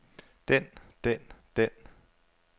den den den